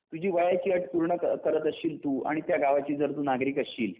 तुझी वयाची अट पूर्णकरत असशील तू आणि त्या गावाची जर तू नागरिक असशील